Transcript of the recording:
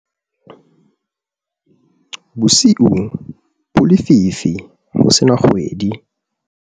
bosiu bo lefifi ho se na kgwedi